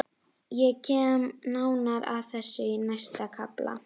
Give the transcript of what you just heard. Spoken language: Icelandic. Venjulega verið önnum kafin þegar hún kom heim.